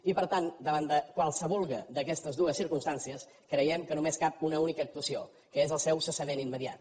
i per tant davant de qualsevulla d’aquestes dues circumstàncies creiem que només cap una única actuació que és el seu cessament immediat